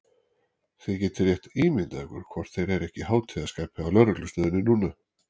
Þið getið rétt ímyndað ykkur hvort þeir eru ekki í hátíðarskapi á lögreglustöðinni núna!